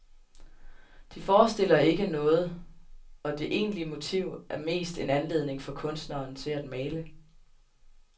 De forestiller ikke noget, og det egentlige motiv er mest en anledning for kunstneren til at male.